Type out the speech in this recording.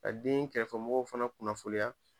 Ka den kɛrɛfɛmɔgɔw fana kunnafonniya